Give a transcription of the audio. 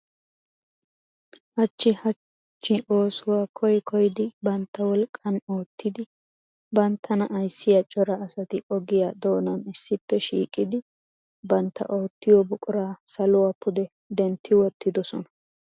Hachchi hachcho oosuwaa koyyi koyyidi bantta wolqqan oottidi banttana ayssiyaa cora asati ogiyaa doonan issippe shiiqidi bantta oottiyo buqura saluwa pude dentti wottidoosona.